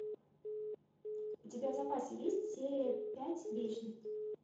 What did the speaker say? у тебя в запасе есть серия пять вечность